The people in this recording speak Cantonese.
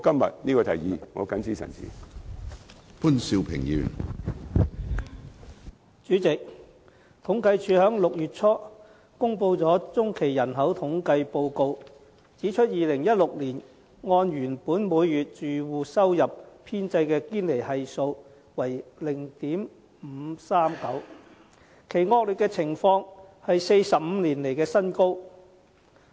主席，政府統計處在6月初公布了中期人口統計報告，指出2016年按原本每月住戶收入編製的堅尼系數為 0.539， 其惡劣情況是45年來的新高。